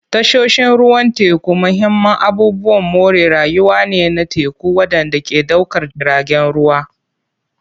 Tashoshin ruwan teku mahimman abubuwan more rayuwa ne na teku waɗanda ke ɗaukar jiragen ruwa.